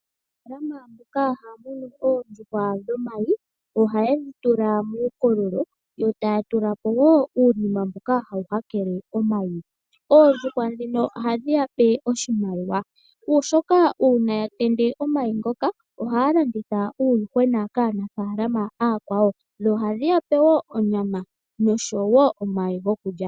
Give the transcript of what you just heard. Aanafaalama mboka haya munu oondjuhwa dhomayi, ohaye yi dhi tula muukololo , yotaya tula po wo uunima mboka hawu hakele omayi . Oondjuhwa ndhino ohadhi ya pe oshimaliwa, oshoka ngele oondjuhwa dhatende omayi ngoka ohaya landitha uuyuhwena kaanafaalama ooyakwawo. Ohadhi ya pe onyama.